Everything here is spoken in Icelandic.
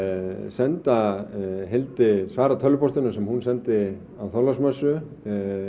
senda Hildi svara tölvupóstinum sem hún sendi á Þorláksmessu